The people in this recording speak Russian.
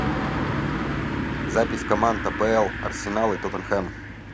запись команд апл арсенал и тоттенхэм